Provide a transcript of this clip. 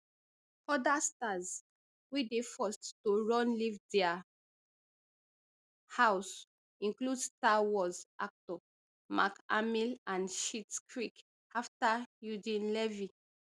oda stars wey dey forced to run leave dia house include star wars actor mark hamill and schitts creek actor eugene levy